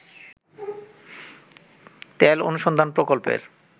তেল অনুসন্ধান প্রকল্পের